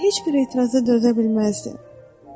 sanki heç bir etiraza dözə bilməzdi.